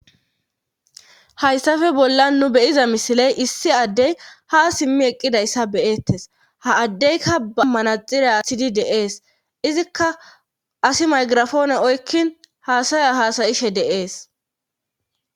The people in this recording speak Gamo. Hayssafe bollan nu beyiza misiley issi addey ha simmi eqqidayssa beyeettes ha addeyka ba manaxira asidi deees izikka asi maygirafoone oykkin haasaya haasayishe deees